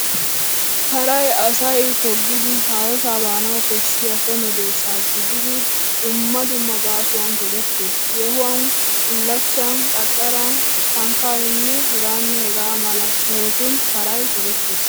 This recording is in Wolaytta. Paray asay toggidi haahosaa baanawu koshshiya so medoosa gididi dumma dumma gaasuwawu togettees. Yeehuwan, bullachchan, qaxxaran, shankkaaninne hegaanne hegaa mala sohotun paray togettees